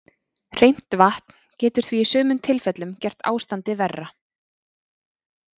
Hreint vatn getur því í sumum tilfellum gert ástandið verra.